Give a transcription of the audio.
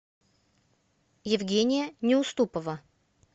евгения неуступова